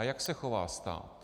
A jak se chová stát?